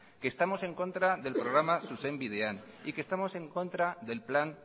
que estamos en contra del programa zuzenbidean y que estamos en contra del plan